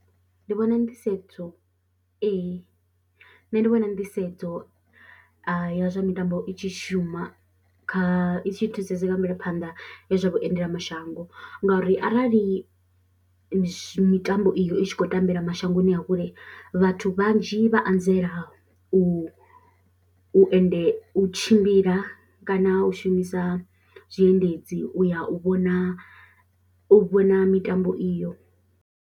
Ndi vhona nḓisedzo nṋe ndi vhona nḓisedzo ya zwa mitambo i tshi shuma kha i tshi thusesa nga mvelephanḓa he zwa vhuendelamashango ngauri arali mitambo iyo i tshi khou tambela mashangoni a kule vhathu vhanzhi vha anzela u u endela, u tshimbila kana u shumisa zwiendedzi u ya u vhona u vhona mitambo iyo.